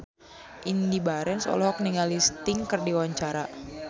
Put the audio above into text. Indy Barens olohok ningali Sting keur diwawancara